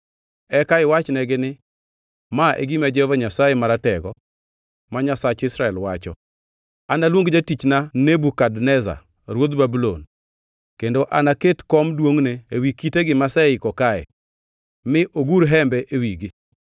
Eka iwachnegi ni, ‘Ma e gima Jehova Nyasaye Maratego, ma Nyasach Israel, wacho: Analuong jatichna Nebukadneza ruodh Babulon, kendo anaket kom duongʼne ewi kitegi maseiko kae; mi ogur hembe e wigi.